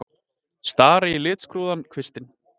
Stari í litskrúðugan kvistinn.